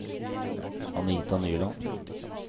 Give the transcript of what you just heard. Anita Nyland